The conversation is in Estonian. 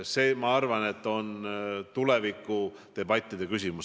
See, ma arvan, on tulevikudebattide küsimus.